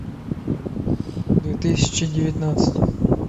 две тысячи девятнадцать